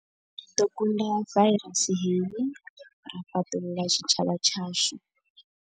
Ri ḓo kunda vairasi hei ra fhaṱulula tshitshavha tshashu.